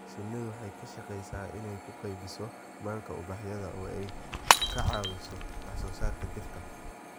Shinnidu waxay ka shaqeysaa inay u qaybiso manka ubaxyada oo ay ka caawiso wax soo saarka dhirta.